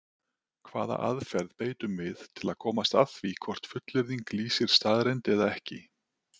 Hvaða aðferð beitum við til að komast að því hvort fullyrðing lýsir staðreynd eða ekki?